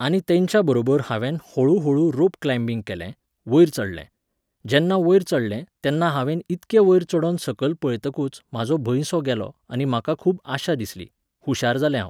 आनी तेंच्या बरोबर हांवेन होळू होळू रोप क्लांयबिंग केलें, वयर चडलें. जेन्ना वयर चडलें, तेन्ना हांवेन इतके वयर चडोन सकयल पळयतकूच म्हाजो भंयसो गेलो आनी म्हाका खूब आशा दिसली, हुशार जालें हांव.